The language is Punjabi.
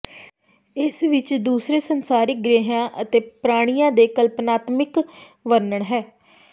ਇਸ ਵਿਚ ਦੂਸਰੇ ਸੰਸਾਰਿਕ ਗ੍ਰਹਿਆਂ ਅਤੇ ਪ੍ਰਾਣੀਆਂ ਦੇ ਕਲਪਨਾਤਮਿਕ ਵਰਣਨ ਹੈ